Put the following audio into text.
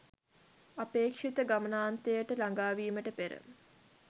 අපේක්‍ෂිත ගමනාන්තයට ළඟාවීමට පෙර,